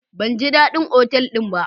Ban ji dadin otal din ba.